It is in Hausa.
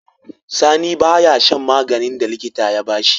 Sani baya shan maganin da likita ya bashi